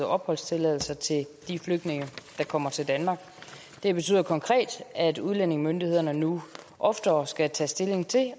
opholdstilladelse til de flygtninge der kommer til danmark det betyder konkret at udlændingemyndighederne nu oftere skal tage stilling til